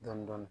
Dɔɔnin dɔɔnin